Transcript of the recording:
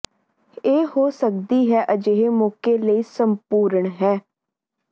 ਇਹ ਹੋ ਸਕਦੀ ਹੈ ਅਜਿਹੇ ਮੌਕੇ ਲਈ ਸੰਪੂਰਣ ਹੈ